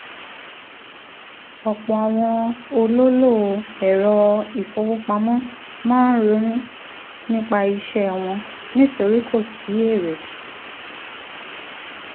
ọ̀pọ̀ àwọn olólò ẹ̀rọ ìfowópamọ́ máa ronú nípa iṣẹ́ wọn nítorí kò sí èrè.